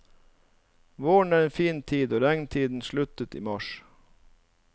Våren er en fin tid og regntiden sluttet i mars.